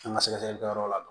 An ka sɛgɛsɛgɛlikɛyɔrɔ la